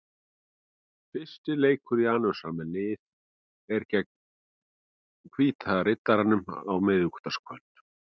Fyrsti leikur Janusar með liðið er gegn Hvíta Riddaranum á miðvikudagskvöld.